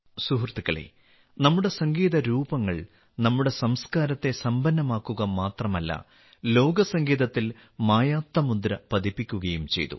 സുഹൃത്തുക്കളേ നമ്മുടെ സംഗീത രൂപങ്ങൾ നമ്മുടെ സംസ്കാരത്തെ സമ്പന്നമാക്കുക മാത്രമല്ല ലോക സംഗീതത്തിൽ മായാത്ത മുദ്ര പതിപ്പിക്കുകയും ചെയ്തു